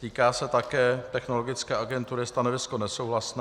Týká se také Technologické agentury, stanovisko nesouhlasné.